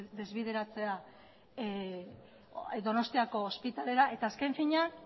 desbideratzea donostiako ospitalera eta azken finean